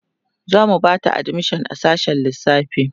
zamu Bata admission a sassshen lissafi